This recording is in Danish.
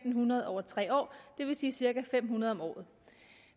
hundrede over tre år det vil sige cirka fem hundrede om året